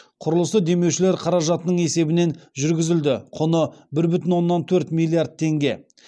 құрылысы демеушілер қаражатының есебінен жүргізілді құны бір бүтін оннан төрт миллиард теңге